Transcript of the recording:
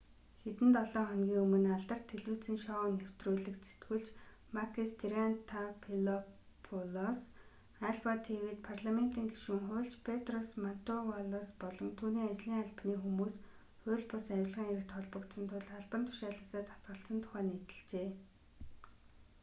хэдэн долоо хоногийн өмнө алдарт телевизийн шоу нэвтрүүлэгт сэтгүүлч макис триантафилопулос альфа тв-д парламентын гишүүн хуульч петрос мантувалос болон түүний ажлын албаны хүмүүс хууль бус авилгын хэрэгт холбогдсон тул албан тушаалаасаа татгалзсан тухай нийтэлжээ